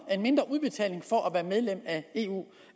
for at være medlem af eu